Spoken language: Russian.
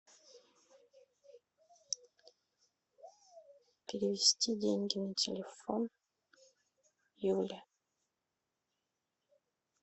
перевести деньги на телефон юля